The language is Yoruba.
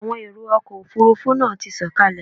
Àwọn èrò ọkọ̀ Òfurufú náà ti sọ̀kalẹ̀.